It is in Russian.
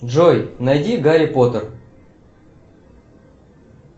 джой найди гарри поттер